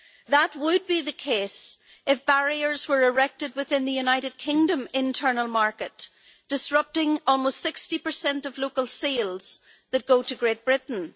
That would be the case if barriers were erected within the United Kingdom internal market, disrupting almost 60 of local sales that go to Great Britain.